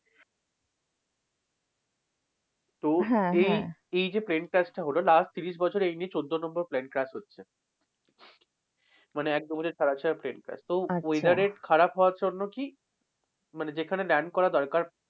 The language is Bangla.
তো এই এই যে plane crash টা হল last ত্রিশ বছরে এই নিয়ে চোদ্দ number plane crash হচ্ছে। মানে একদম ওদের plane crash তো weather এর খারাপ হওয়ার জন্য কি, মানে যেখানে land করা দরকার,